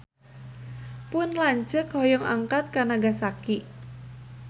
Pun lanceuk hoyong angkat ka Nagasaki